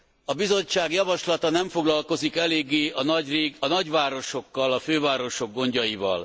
A Bizottság javaslata nem foglalkozik eléggé a nagyvárosokkal, a fővárosok gondjaival.